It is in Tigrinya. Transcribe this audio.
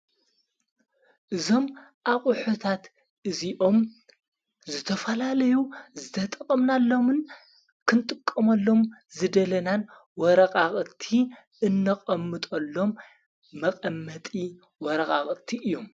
እዞም ኣቝሑታት እዙኦም ዘተፋላለዩ ዝተጠቐምናሎምን ክንጥቆመሎም ዝደለናን ወረቓቕቲ እነቐምጦሎም መቐመጢ ወረቓቕቲ እዩም።